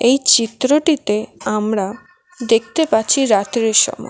এই চিত্রটিতে আমরা দেখতে পাচ্ছি রাত্রির সময়।